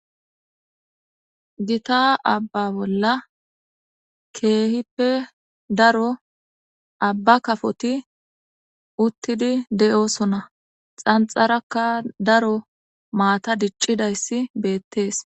gita abba bolla keehippe daro abba kafoti uttidi de'osonna xanxarakka daro maata diccidayssi beettees